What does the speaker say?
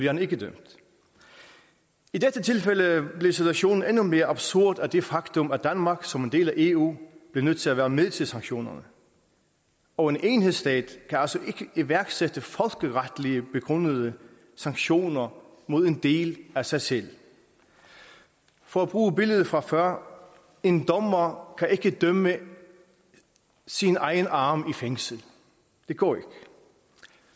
han ikke dømt i dette tilfælde blev situationen endnu mere absurd af det faktum at danmark som en del af eu blev nødt til at være med til sanktionerne og en enhedsstat kan altså ikke iværksætte folkeretligt begrundede sanktioner mod en del af sig selv for at bruge billedet fra før en dommer kan ikke dømme sin egen arm til fængsel det går ikke